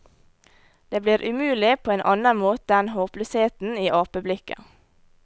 Det blir umulig på en annen måte enn håpløsheten i apeblikket.